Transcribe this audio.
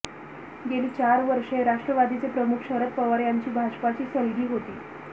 गेली चार वर्षे राष्ट्रवादीचे प्रमुख शरद पवार यांची भाजपाची सलगी होती